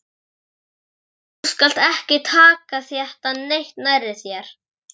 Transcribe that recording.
Þú skalt ekki taka þetta neitt nærri þér.